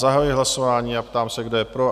Zahajuji hlasování a ptám se, kdo je pro?